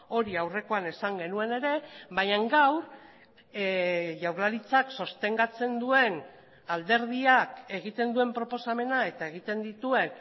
hori aurrekoan esan genuen ere baina gaur jaurlaritzak sostengatzen duen alderdiak egiten duen proposamena eta egiten dituen